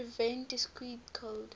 prevent discrete code